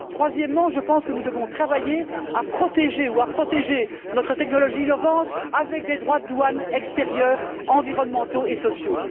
Troisièmement, je pense que nous devons travailler à protéger notre technologie innovante au moyen de droits de douane extérieurs environnementaux et sociaux.